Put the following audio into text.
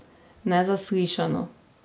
Nezaslišano?